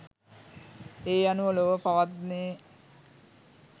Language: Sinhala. ඒ අනුව ලොව පවත්නේ